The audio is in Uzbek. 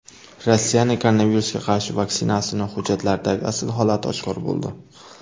Rossiyaning koronavirusga qarshi vaksinasining hujjatlardagi asl holati oshkor bo‘ldi.